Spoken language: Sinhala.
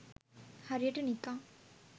හරියට නිකන්